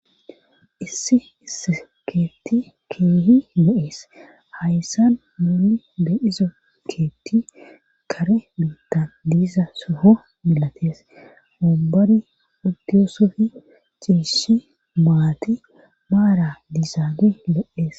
Issi is keetti keehi lo'ees hayssan muuni de izo keetti kare beittan diisa soho milatees obani uddiyosofi ciishi maati maara dizaabe le'ees.